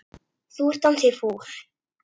Þú ert ansi fúll.